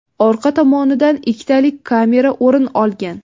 Orqa tomonidan ikkitalik kamera o‘rin olgan.